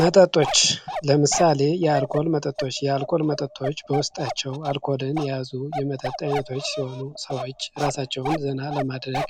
መጠጦች፦ ለምሳሌ የአልኮል መጠጦች፤ የአልኮል መጠጦች በውስጣቸው አልኮልን የያዙ የመጠጥ አይነቶች ሲሆኑ ሰወች ሲራሳቸውን ዜና ለማድረግ